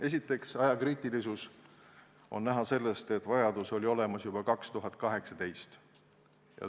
Esiteks, ajakriitilisus on näha sellest, et seadusemuudatuse vajadus oli olemas juba aastal 2018.